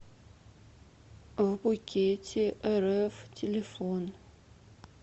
вбукетерф телефон